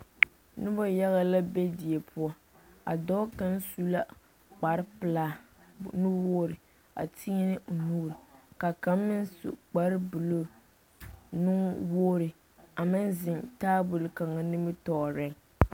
Noba yaga la be die poɔ, a dɔɔ kaŋa su la kpare pelaa nu-wogiri a tēɛnɛ o nuuri ka kaŋ meŋ su kpare buluu nu-wogiri a meŋ zeŋ taabol kaŋa nimitɔɔreŋ.